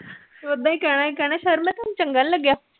ਕਹਿਣਾ ਸੀ ਸਰ ਮੈ ਥੋਨੂੰ ਚੰਗਾ ਨੀ ਲੱਗਿਆ